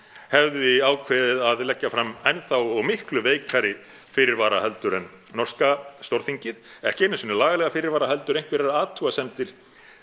hefði ákveðið að leggja fram enn þá og miklu veikari fyrirvara heldur en norska Stórþingið ekki einu sinni lagalega fyrirvara heldur einhverjar athugasemdir